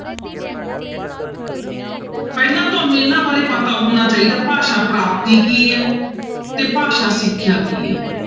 ਪਹਿਲਾਂ ਤੁਹਾਨੂੰ ਇਹਨਾਂ ਬਾਰੇ ਪਤਾ ਹੋਣਾ ਚਾਹੀਦਾ ਭਾਸ਼ਾ ਪ੍ਰਾਪਤੀ ਕੀ ਹੈ ਤੇ ਭਾਸ਼ਾ ਸਿਖਿਆ ਕੀ ਹੈ।